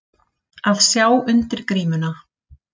Að sjá undir grímuna